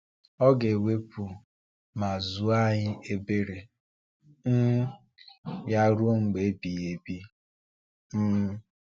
Ọ ga-ewepụ mgbu ma zuo anyị ebere um Ya ruo mgbe ebighị ebi. um